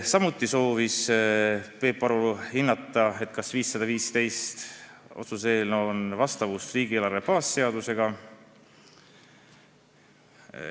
Samuti soovis Peep Aru hinnata, kas otsuse eelnõu 515 on vastavuses riigieelarve baasseadusega.